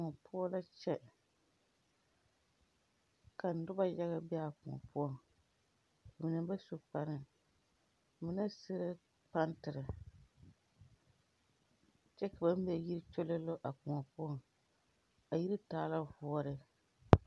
Kõɔ poɔ la kyɛ ka noba yaga bee a kõɔ poɔ ba mine ba su kparre mine suee pantirre kyɛ ka ba mɛ yi kyololo a kõɔ poɔŋ a yiri taa ka voɔre.